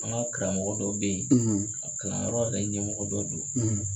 An ka karamɔgɔ dɔ bɛ ye a kalanyɔrɔ yɛrɛ ɲɛmɔgɔ dɔ do.